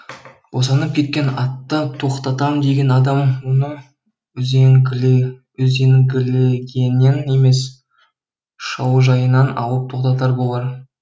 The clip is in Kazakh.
босанып кеткен атты тоқтатам деген адам оны үзенгілегеннен емес шаужайынан алып тоқтатар болар